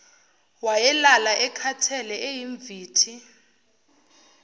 wayelala ekhathele eyimvithi